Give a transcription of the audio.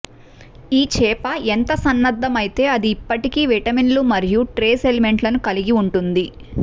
ఈ చేప ఎంత సన్నద్ధమైతే అది ఇప్పటికీ విటమిన్లు మరియు ట్రేస్ ఎలిమెంట్లను కలిగి ఉంటుంది